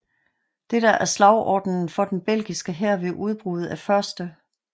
Dette er slagordenen for den belgiske hær ved udbruddet af 1